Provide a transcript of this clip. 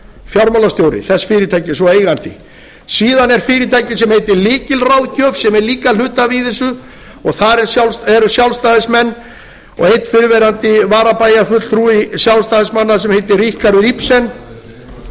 fjármálastjóri þess fyrirtækis og eigandi síðan er fyrirtæki sem heitir lykilráðgjöf sem er líka hluthafi í þessu og þar eru sjálfstæðismenn og einn fyrrverandi varabæjarfulltrúi sjálfstæðismanna sem heitir ríkharður ibsen og